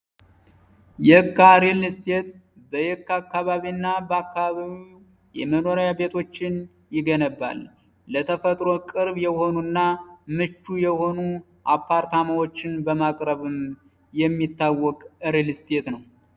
የካ ሪል ስቴት በየካ አካባቢና በአካባቢው የመኖሪያ ቤቶችን ይገነባል። ለተፈጥሮ ቅርብ የሆኑና ምቹ የሆኑ አፓርታማዎችን በማቅረብም የሚታወቅ ሪል ስቴት ነው።